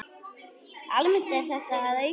Almennt er þetta að aukast.